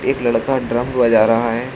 एक लड़का ड्रम बजा रहा है।